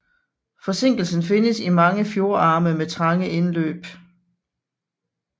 Forsinkelsen findes i mange fjordarme med trange indløb